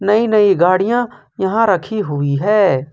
नई नई गाड़ियां यहां रखी हुई है।